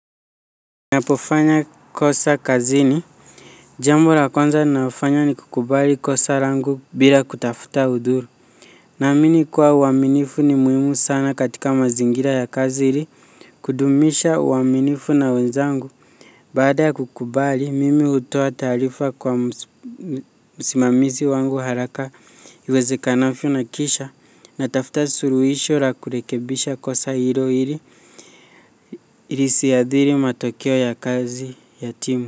Ninapo fanya kosa kazini. Jambo la kwanza nafanya ni kukubali kosa langu bila kutafuta udhuru. Naamini kuwa uaminifu ni muhimu sana katika mazingira ya kazi ili kudumisha uaminifu na wenzangu. Baada ya kukubali, mimi hutoa taarifa kwa msimamizi wangu haraka iweze kanavyo na kisha natafuta suluhisho la kurekebisha kosa hilo ili lisiadhiri matokeo ya kazi ya timu.